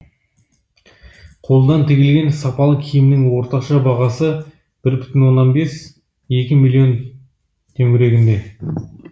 қолдан тігілген сапалы киімнің орташа бағасы бір бүтін оннан бес екі миллион төңірегінде